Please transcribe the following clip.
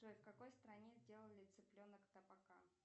джой в какой стране сделали цыпленок табака